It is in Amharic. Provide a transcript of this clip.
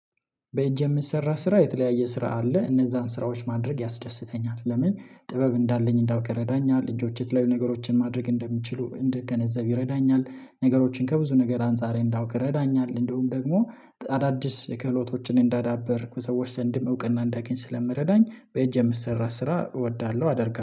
በእጅ የሚሰራ ስራ የተለያየ ስራ አለ እነዛን ስራዎች ማድረግ ያስደስተኛል። ለምን ጥበብ እንዳለኝ እንዳውቀህ ረዳኛል እጆቼ የት ላይ ነገሮችን ማድረግ እንደምችሉ እንደገነዘብ ይረዳኛል። ነገሮችን ከብዙ ነገር አንፃር እንዳውቅ ይረዳኛል። እንደውም ደግሞ አዳዲስ ክህሎቶችን እንዳዳበርክ ሰዎች ዘንድም እውቅና እንዳገኝ ስለምረዳኝ በእጅ የምሰራ ስራ እወዳለሁ። አደርጋለሁ